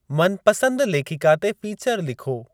मनपसंदि लेखिका ते फ़ीचर लिखो।